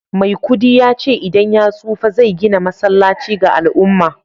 maikudi ya ce idan ya tsufa zai gina masallaci ga al'umma